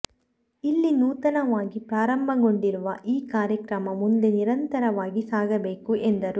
ಇಲ್ಲಿ ನೂತನವಾಗಿ ಪ್ರಾರಂಭಗೊಂಡಿರುವ ಈ ಕಾರ್ಯಕ್ರಮ ಮುಂದೆ ನಿರಂತರವಾಗಿ ಸಾಗಬೇಕು ಎಂದರು